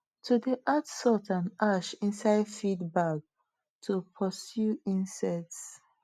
i dey add salt and ash inside feed bag to pursue insects